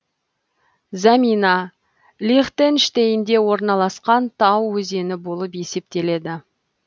замина лихтенштейнде орналасқан тау өзені болып есептеледі